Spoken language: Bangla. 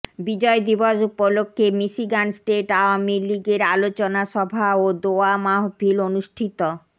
বিজয় দিবস উপলক্ষে মিশিগান স্টেট আওয়ামী লীগের আলোচনা সভা ও দোয়া মাহফিল অনুষ্ঠিত